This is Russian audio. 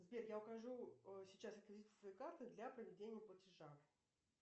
сбер я укажу сейчас реквизиты своей карты для проведения платежа